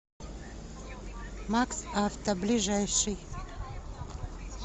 макс авто ближайший